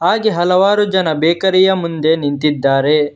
ಹಾಗೆ ಹಲವಾರು ಜನ ಬೇಕರಿ ಯ ಮುಂದೆ ನಿಂತಿದ್ದಾರೆ.